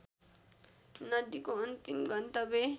नदीको अन्तिम गन्तव्य